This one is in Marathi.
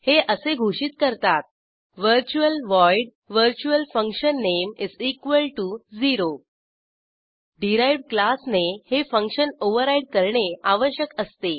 हे असे घोषित करतातः virtual void virtualfunname0 derived class ने हे फंक्शन ओव्हरराईड करणे आवश्यक असते